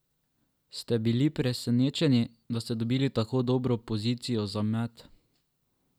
Ste bili presenečeni, da ste dobili tako dobro pozicijo za met?